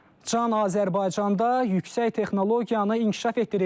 Can Azərbaycanda yüksək texnologiyanı inkişaf etdiririk.